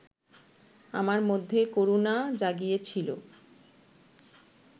আমার মধ্যে করুণা জাগিয়েছিল